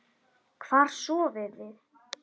Hvar sofiði?